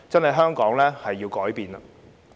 香港真的要改變。